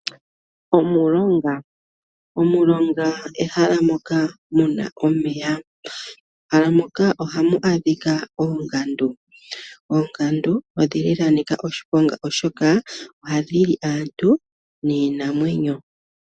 Omulonga ehala moka mu na omeya. Mehala moka ohamu adhika oongandu. Oongandu odha nika oshiponga, oshoka ohadhi li aantu niinamwenyo.